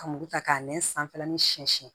Ka muru ta k'a nɛn sanfɛ ni siyɛn siyɛn